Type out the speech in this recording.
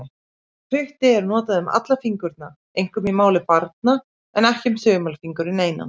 Putti er notað um alla fingurna, einkum í máli barna, en ekki um þumalfingurinn einan.